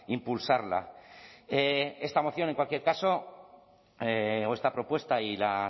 impulsarla esta moción en cualquier caso o esta propuesta y la